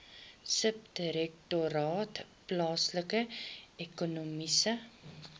subdirektoraat plaaslike ekonomiese